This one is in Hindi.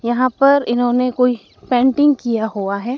यहां पर इन्होंने कोई पेंटिंग किया हुआ है।